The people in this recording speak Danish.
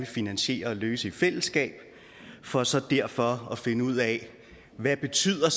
finansiere og løse i fællesskab for så derfra at finde ud af hvad betyder